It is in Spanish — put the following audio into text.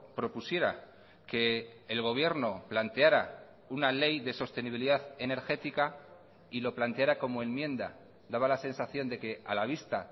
propusiera que el gobierno planteara una ley de sostenibilidad energética y lo planteara como enmienda daba la sensación de que a la vista